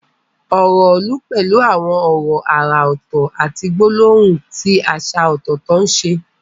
Ọ̀rọ̀ ìlú pẹ̀lú àwọn ọ̀rọ̀ àrà ọ̀tọ̀ àti gbólóhùn tí àṣà ọ̀tọ̀ọ̀tọ̀ ṣe.